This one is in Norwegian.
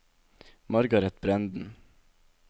Margaret Brenden